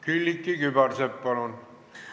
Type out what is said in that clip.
Külliki Kübarsepp, palun!